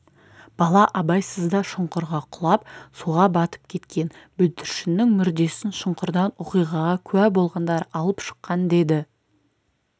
бала абайсызда шұңқырға құлап суға батып кеткен бүлдіршіннің мүрдесін шұңқырдан оқиғаға куә болғандар алып шыққан деді